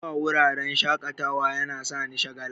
zuwa wuraren shaƙatawa yana sani shagala.